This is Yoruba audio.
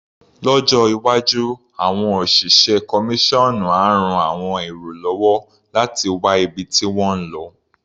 Lọ́jọ́ iwájú, àọn òṣìṣẹ́ kọmíṣọ́ọ̀nú á ran àwọn èrò lọ́wọ́ láti wá ibi tí wọ́n ń lo.